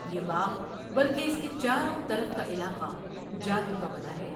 یہ باغ بلکہ اس کے چاروں طرف کا علاقہ جادو کا بنا ہوا ہے ۔